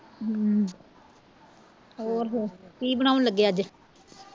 ਹਮ ਹੋਰ ਫਿਰ ਕੀ ਬਣਾਓਣ ਲੱਗੇ ਅੱਜ